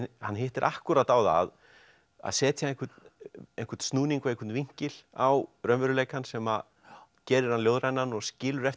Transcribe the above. hann hittir akkúrat á það að setja einhvern einhvern snúning og einhvern vinkil á raunveruleikann sem gerir hann ljóðrænan og skilur eftir